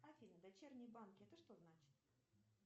афина дочерние банки это что значит